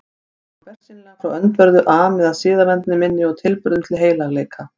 Var honum bersýnilega frá öndverðu ami að siðavendni minni og tilburðum til heilagleika.